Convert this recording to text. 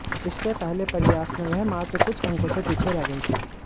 इससे पहले प्रयास में वह मात्र कुछ अंकों से पीछे रह गए थे